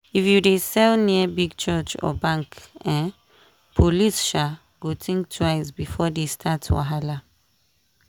if you dey sell near big church or bank um police um go think twice before they start wahala.